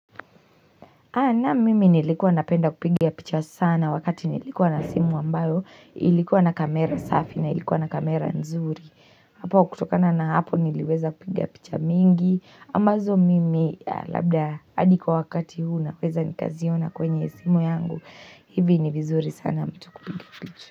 Na mimi nilikuwa napenda kupiga picha sana wakati nilikuwa na simu ambayo ilikuwa na kamera safi na ilikuwa na kamera nzuri. Hapo kutokana na hapo niliweza kupiga picha mingi. Ambazo mimi labda hadi kwa wakati huu na weza nikaziona kwenye simu yangu. Hivi ni vizuri sana mtu kupiga picha.